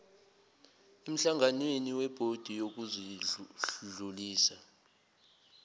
emhlanganweni webhodi yokudlulisa